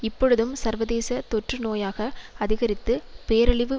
இப்பொழுதும் சர்வதேச தொற்று நோயாக அதிகரித்து பேரழிவு